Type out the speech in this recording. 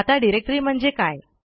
आता डिरेक्टरी म्हणजे काय